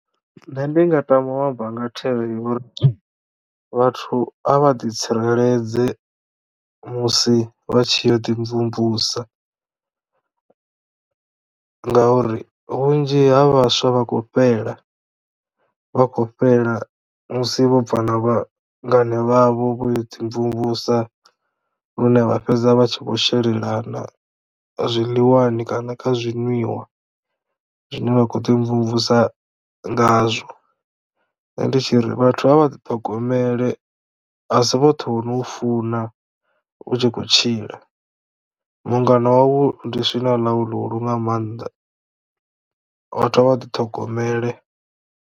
Nṋe ndi nga tama u amba nga thero yo uri vhathu a vha ḓi tsireledze musi vha tshi ya u ḓi mvumvusa ngauri vhunzhi ha vhaswa vha khou fhela vha khou fhela musi vho bva na vhangana vhavho vho yo dzi mvumvusa lune vha fhedza vha tshi vho shelelana zwiḽiwani kana kha zwinwiwa zwine vha khou ḓi mvumvusa ngazwo nṋe ndi tshi ri vhathu a vha ḓiṱhogomele asi vhoṱhe vhono u funa u tshi khou tshila mungana wawu ndi swina ḽau ḽihulu nga mannḓa vhathu a vha ḓiṱhogomele.